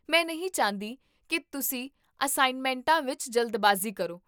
ਮੈਂ ਨਹੀਂ ਚਾਹੁੰਦੀ ਕੀ ਤੁਸੀਂ ਅਸਾਈਨਮੈਂਟਾਂ ਵਿੱਚ ਜਲਦਬਾਜ਼ੀ ਕਰੋ